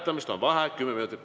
Paluksin vaheaega kümme minutit.